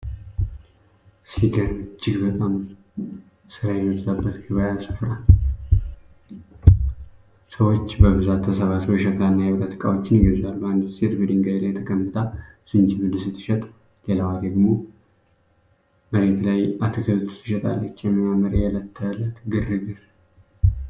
ሲገርም! እጅግ በጣም ሥራ የበዛበት የገበያ ስፍራ። ሰዎች በብዛት ተሰብስበው የሸክላና የብረት ዕቃዎችን ይገዛሉ። አንዲት ሴት በድንጋይ ላይ ተቀምጣ ዝንጅብል ስትሸጥ፣ ሌላዋ ደግሞ መሬት ላይ አትክልት ትሸጣለች። የሚያምር የእለት ተእለት ግርግር!